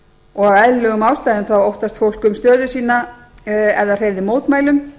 og af eðlilegum ástæðum óttast fólk um stöðu sína ef það hreyfði mótmælum